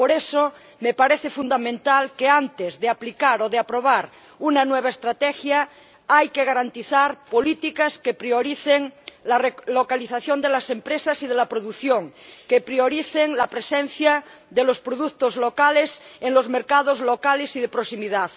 Por eso, me parece fundamental que, antes de aplicar o de aprobar una nueva estrategia, se garanticen políticas que prioricen la relocalización de las empresas y de la producción, que prioricen la presencia de los productos locales en los mercados locales y de proximidad.